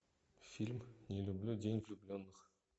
фильм не люблю день влюбленных